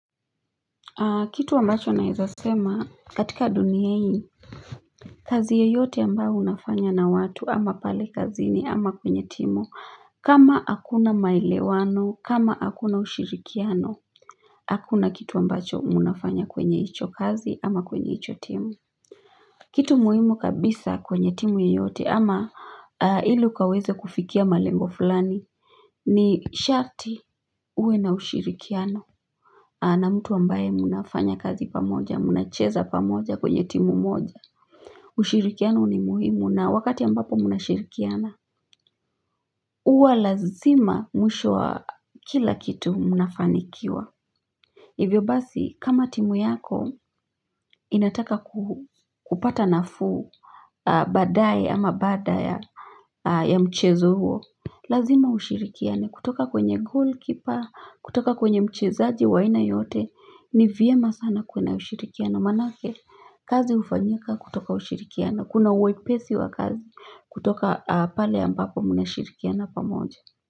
Kitu ambacho naweza sema katika dunia hii kazi yeyote ambayo unafanya na watu ama pale kazini ama kwenye timu, kama hakuna maelewano, kama hakuna ushirikiano, hakuna kitu ambacho unafanya kwenye hicho kazi ama kwenye hicho timu. Kitu muhimu kabisa kwenye timu yeyote ama ili ukaweze kufikia malengo fulani ni sharti uwe na ushirikiano. Na mtu ambaye mnafanya kazi pamoja, mnacheza pamoja kwenye timu moja. Ushirikiano ni muhimu na wakati ambapo mnashirikiana. Huwa lazima mwisho wa kila kitu mnafanikiwa. Hivyo basi kama timu yako inataka kupata nafuu baadaye ama baada ya ya mchezo huo. Lazima ushirikiane kutoka kwenye golikipa, kutoka kwenye mchezaji wa aina yote. Ni vyema sana kuwe na ushirikiano. Maanake kazi hufanyika kutoka ushirikiano. Kuna wepesi wa kazi kutoka pale ambapo mnashirikiana pamoja.